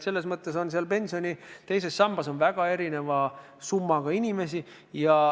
Selles mõttes on pensioni teises sambas väga erineva summaga inimesi.